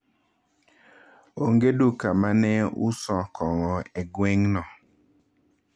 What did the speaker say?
Onge duka ma ne uso kong’o e gweng’no.